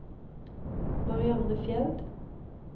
Marianne Fjeld